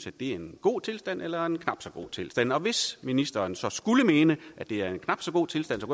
er en god tilstand eller en knap så god tilstand og hvis ministeren så skulle mene at det er en knap så god tilstand